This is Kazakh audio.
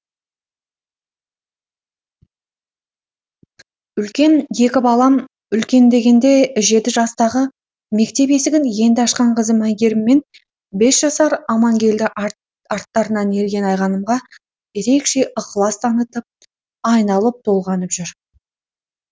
үлкен екі балам үлкен дегенде жеті жастағы мектеп есігін енді ашқан қызым айгерім мен бес жасар амангелді арттарынан ерген айғанымға ерекше ықлас танытып айналып толғанып жүр